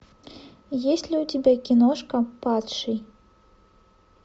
есть ли у тебя киношка падший